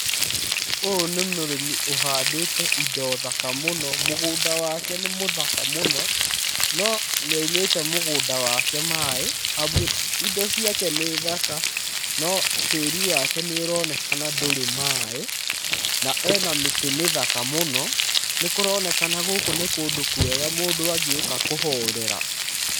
Ũyũ nĩ mũrĩmi ũhandĩte indo thaka mũno, mũgũnda wake nĩ mũthaka mũno. No nĩ aumĩte mũgũnda wake maĩ, amu indo ciake nĩ thaka no tĩĩri wake nĩ ũronekana ndũrĩ maĩ. Na ena mĩtĩ mĩthaka mũno, nĩ kũronekana gũkũ nĩ kũndũ kwega mũndũ angĩũka kũhorera.